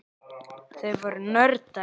Þau voru nördar.